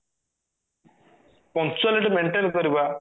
punctuality maintain କରିବା